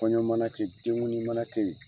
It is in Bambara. Kɔɲɔ mana kɛ, den kundi mana kɛ yen.